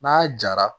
N'a jara